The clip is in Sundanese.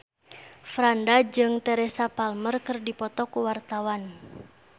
Franda jeung Teresa Palmer keur dipoto ku wartawan